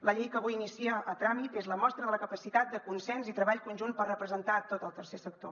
la llei que avui inicia el tràmit és la mostra de la capacitat de consens i treball conjunt per representar tot el tercer sector